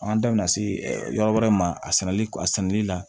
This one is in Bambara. An da bina se yɔrɔ wɛrɛ ma a sɛnɛli a sɛnɛni na